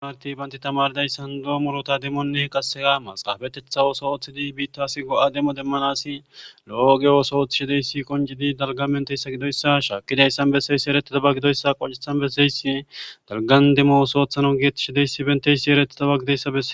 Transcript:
marti banti tamardayssan doomolota demmoonne qasegamas qaafetetha wooso ooththidi biittas go7a demo demmanasi lo7ogeyoso ooththishideyssi qoncidi dalga benteyssa gidoyssa shaakkidayssan besseyssi eretidaba gidoyssa qoncethan besseysi dalgan demmosooththano giettishideysi benteysi eretidaba gideyssabe